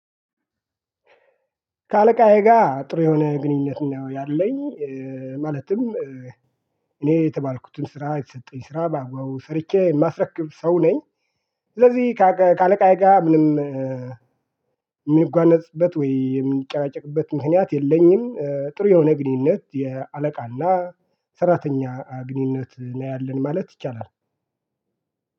ከአለቃዬ ጋር ጥሩ የሆነ ግንኙነት ነው ያለኝ። ማለትም እኔ የተባልኩትን ስራ የተሰጠኝ ስራ በአግባቡ ሰርቼ የማስረክብ ሰው ነኝ። ስለዚህ ከአለቃዬ ጋር ምንም የምንጓነጽበት ወይ የምንጨቃጨቅበት ምክንያት የለኝም። ጥሩ የሆነ ግንኙነት የአለቃ እና ሰራተኛ ግንኙነት ነው ያለን ማለት ይቻላል።